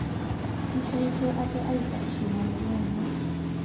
Eitaito ate aisafisha ina murua enye